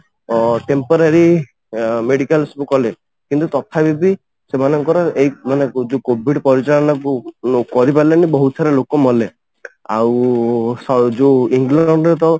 ତ temporary medical ସବୁ କଲେ କିନ୍ତୁ ତଥାପି ବି ସେମାନଙ୍କର ଏଇ ମାନେ ଯୋଉ COVID ପରିଚାଳନା କରିପାରିଲେନି ବହୁତ ସାରା ଲୋକ ମଲେ ଆଉ ଯୋଉ ଇଂଲଣ୍ଡରେ ତ